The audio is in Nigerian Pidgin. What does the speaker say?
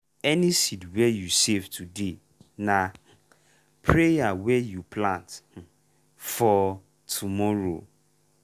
any seed wey you save today na prayer wey you plant for tomorrow.